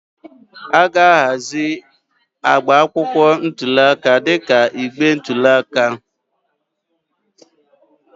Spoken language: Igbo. A ga-ahazi agba akwụkwọ ntuli aka dịka igbe ntụli aka.